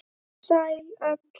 Sæl öll.